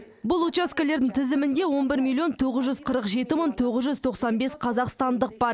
бұл учаскелердің тізімінде он бір миллион тоғыз жүз қырық жеті мың тоғыз жүз тоқсан бес қазақстандық бар